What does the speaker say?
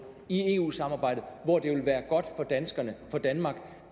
i eu samarbejdet hvor det vil være godt for danmark